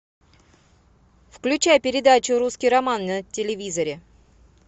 включай передачу русский роман на телевизоре